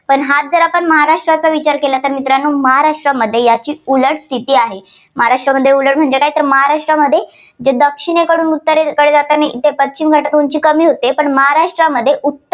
पण हाच जर महाराष्ट्राचा विचार केला तर मित्रांनो महाराष्ट्रामध्ये याची उलट स्थिती आहे. महाराष्ट्रामध्ये उलट म्हणजे काय तर महाराष्ट्रामध्ये जे दक्षिणेकडून उत्तरेकडे इथे पश्चिम घाटाची उंची कमी होते, पण महाराष्ट्रात उत्त~